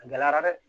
A gɛlɛyara dɛ